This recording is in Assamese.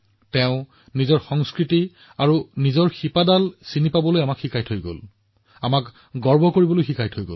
তেওঁ আমাক আমাৰ সংস্কৃতি আৰু মূলৰ বাবে গৌৰৱান্বিত হবলৈ শিকাইছিল